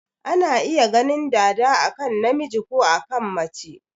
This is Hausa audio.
Ana iya ganin dada a kan namiji ko a kan mace.